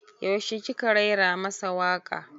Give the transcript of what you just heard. Yaushe ki ka raira masa waka?